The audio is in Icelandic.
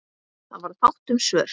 Það varð fátt um svör.